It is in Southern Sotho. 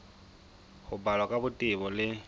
ho balwa ka botebo le